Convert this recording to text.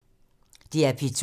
DR P2